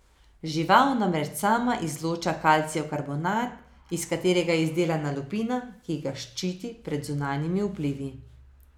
Žival namreč sama izloča kalcijev karbonat, iz katerega je izdelana lupina, ki ga ščiti pred zunanjimi vplivi.